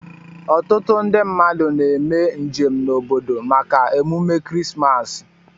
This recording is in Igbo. Ọtụtu ndi mmadu na eme njem na obodo maka emume krismas.